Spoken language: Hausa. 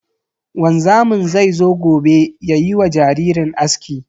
Wanzamin zai zo gobe yayi wa jaririn aski.